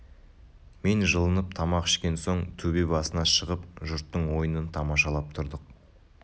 мен жылынып тамақ ішкен соң төбе басына шығып жұрттың ойынын тамашалап тұрдық